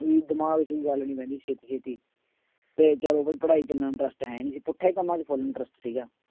ਵੀ ਦਿਮਾਗ ਚ ਕੋਈ ਗੱਲ ਨੀ ਪੈਂਦੀ ਛੇਤੀ ਛੇਤੀ ਤੇ ਚਲੋ ਵੀ ਪੜ੍ਹਾਈ ਇੰਨਾ interest ਹੈ ਨੀ ਸੀ ਪੁੱਠੇ ਕੰਮਾਂ ਚ full interest ਸੀਗਾ।